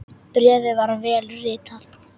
Bréfið var vel ritað.